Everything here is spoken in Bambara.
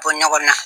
Bɔ ɲɔgɔn na